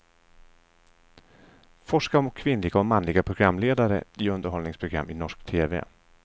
Forskar om kvinnliga och manliga programledare i underhållningsprogram i norsk tv.